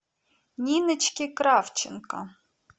ниночке кравченко